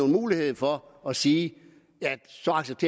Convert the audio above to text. mulighed for at sige